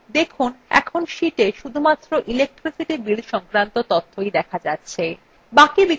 দেখুন এখন sheetএ শুধুমাত্র electricity bill সংক্রান্ত তথ্যই data যাচ্ছে